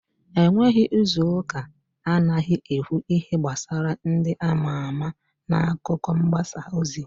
E nweghi izuuka anaghị ekwu ihe gbasara ndị ama ama n'akụkọ mgbasa ozi.